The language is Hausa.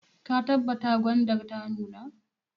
Ka tabbata gwandar ta nuna!